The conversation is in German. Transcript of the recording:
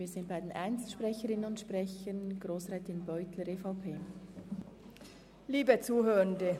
Wir sind bei den Einzelsprecherinnen und sprechern angelangt.